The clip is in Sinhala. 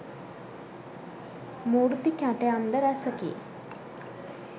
මූර්ති කැටයම්ද රැසෙකි.